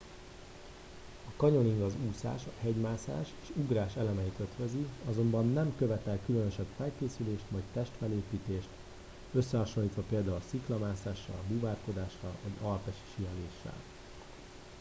a canyoning az úszás a hegymászás és ugrás elemeit ötvözi - azonban nem követel különösebb felkészülést vagy testfelépítést összehasonlítva például a sziklamászással búvárkodással vagy alpesi síeléssel